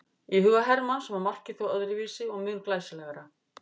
Í huga Hermanns var markið þó öðruvísi og mun glæsilegra.